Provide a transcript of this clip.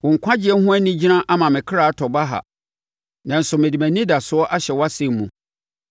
Wo nkwagyeɛ ho anigyina ama me ɔkra atɔ baha, nanso mede mʼanidasoɔ ahyɛ wʼasɛm mu.